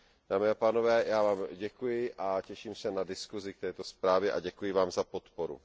Dámy a pánové, já vám děkuji a těším se na diskusi k této zprávě a děkuji vám za podporu.